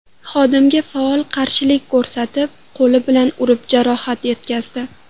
xodimga faol qarshilik ko‘rsatib, qo‘li bilan urib jarohat yetkazdi.